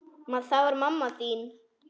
Það var mamma þín.